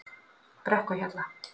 Brekkuhjalla